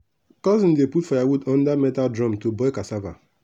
cousin dey put firewood under metal drum to boil cassava.